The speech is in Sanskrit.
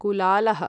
कुलालः